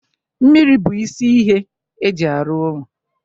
mmiri bụ isi ihe eji arụ ụlọ